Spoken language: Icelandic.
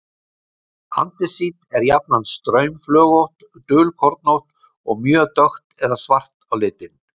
Andesít er jafnan straumflögótt, dulkornótt og mjög dökkt eða svart á litinn.